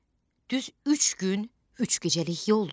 Düz üç gün, üç gecəlik yoldur.